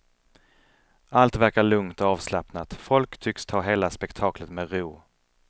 Allt verkar lugnt och avslappnat, folk tycks ta hela spekaklet med ro.